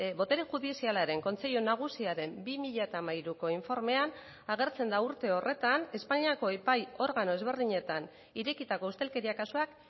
botere judizialaren kontseilu nagusiaren bi mila hamairuko informean agertzen da urte horretan espainiako epai organo ezberdinetan irekitako ustelkeria kasuak